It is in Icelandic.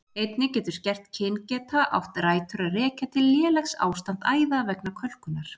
Einnig getur skert kyngeta átt rætur að rekja til lélegs ástands æða vegna kölkunar.